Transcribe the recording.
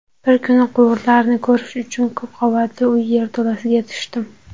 Bir kuni quvurlarni ko‘rish uchun ko‘pqavatli uy yerto‘lasiga tushdim.